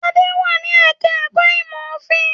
Adé wà ní ẹ̀ka-ẹ̀kọ́ ìmọ̀-òfin.